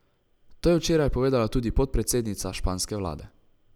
To je včeraj povedala tudi podpredsednica španske vlade.